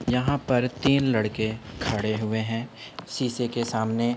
यहाँ पर तीन लड़के खड़े हुए हैं शीशे के सामने।